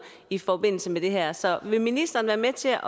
i forbindelse med det her så vil ministeren være med til at